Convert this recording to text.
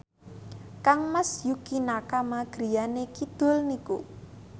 kangmas Yukie Nakama griyane kidul niku